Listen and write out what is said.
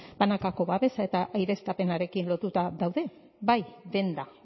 banakako babesa eta aireztapenarekin lotuta daude bai denda